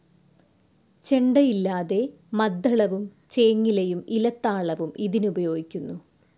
ചെണ്ടയില്ലാതെ മദ്ദളവും ചേങ്ങിലയും ഇലത്താളവും ഇതിനുപയോഗിക്കുന്നു.